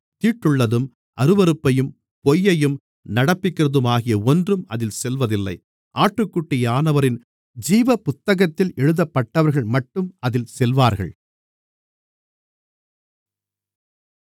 தீட்டுள்ளதும் அருவருப்பையும் பொய்யையும் நடப்பிக்கிறதுமாகிய ஒன்றும் அதில் செல்வதில்லை ஆட்டுக்குட்டியானவரின் ஜீவபுத்தகத்தில் எழுதப்பட்டவர்கள்மட்டும் அதில் செல்வார்கள்